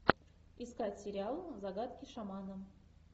искать сериал загадки шамана